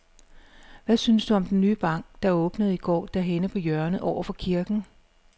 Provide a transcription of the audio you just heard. Hvad synes du om den nye bank, der åbnede i går dernede på hjørnet over for kirken?